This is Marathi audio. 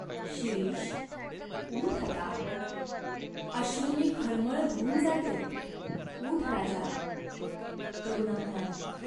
"शिरीष, ऊठ आता. अश्रुंनी खळमळ धुऊन जाते ऊठ राजा !" करुणा म्हणाली.